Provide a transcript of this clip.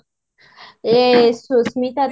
ଏ Susmita